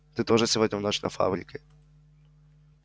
ты тоже сегодня в ночь на фабрике